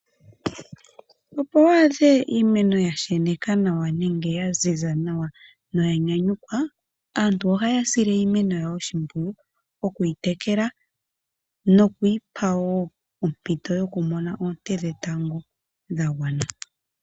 Opo wu adhe iimeno ya sheneka nawa nenge ya ziza nawa no ya nyanyukwa, aantu ohaya sile iimeno yawo oshimpwiyu oku yi tekela noku yi pa wo ompito yokumona oonte dhetango dha gwana.